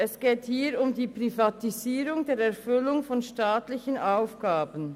Es geht hier um die Privatisierung der Erfüllung von staatlichen Aufgaben.